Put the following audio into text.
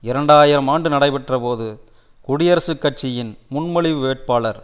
இரண்டு ஆயிரம் ஆண்டு நடைபெற்ற போது குடியரசுக் கட்சியின் முன்மொழிவு வேட்பாளர்